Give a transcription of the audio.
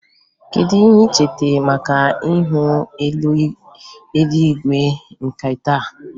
Kedu ihe ị chere maka ihu eluigwe nke taa?